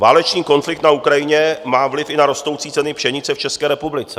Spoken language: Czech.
Válečný konflikt na Ukrajině má vliv i na rostoucí ceny pšenice v České republice.